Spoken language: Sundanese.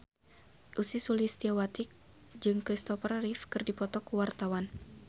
Ussy Sulistyawati jeung Christopher Reeve keur dipoto ku wartawan